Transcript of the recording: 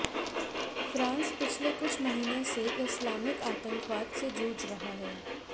France पिछले कुछ महीने से इस्लामिक आतंकवाद से जूझ रहा है